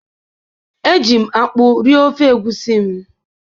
eji m akpu rie ofe egusi m.